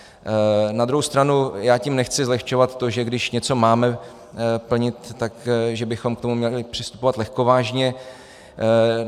Na druhou stranu já tím nechci zlehčovat to, že když něco máme plnit, tak že bychom k tomu měli přistupovat lehkovážně.